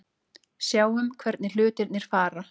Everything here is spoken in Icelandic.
Sjáum hvernig hlutirnir fara.